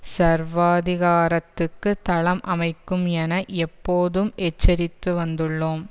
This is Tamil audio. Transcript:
சர்வாதிகாரத்துக்கு தளம் அமைக்கும் என எப்போதும் எச்சரித்து வந்துள்ளோம்